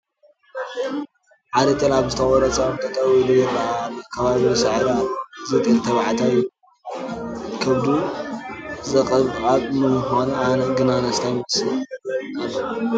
ሓደ ጤል ኣብ ዝተቖረፀ ኦም ጠጠዉ ኢሉ ይርአ ኣሎ፡፡ ከባቢኡ ሳዕሪ ኣለዎ፡፡ እዚ ጤል ተባዕታይ እዩ፡፡ ከብዱ ዘቕባብ ብምዃኑ ግን ኣነስታይ ይመስል ኣሎ፡፡